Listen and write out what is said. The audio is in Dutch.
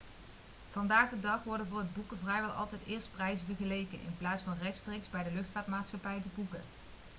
vandaag de dag worden voor het boeken vrijwel altijd eerst prijzen vergeleken in plaats van rechtstreeks bij de luchtvaartmaatschappij te boeken